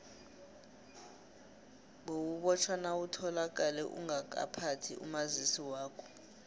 bewubotjhwa nawutholakale ungakaphathi umazisi wakho